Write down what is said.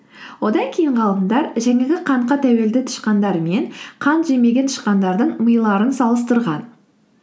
одан кейін ғалымдар жаңағы қантқа тәуелді тышқандар мен қант жемеген тышқандардың миларын салыстырған